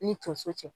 Ni tonso cɛ